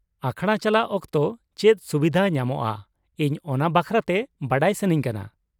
ᱟᱠᱷᱲᱟ ᱪᱟᱞᱟᱜ ᱚᱠᱛᱚ ᱪᱮᱫ ᱥᱩᱵᱷᱤᱫᱟ ᱧᱟᱢᱚᱜᱼᱟ ᱤᱧ ᱚᱱᱟ ᱵᱟᱠᱷᱨᱟᱛᱮ ᱵᱟᱰᱟᱭ ᱥᱟᱹᱱᱟᱹᱧ ᱠᱟᱱᱟ ᱾